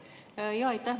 Jaa, aitäh!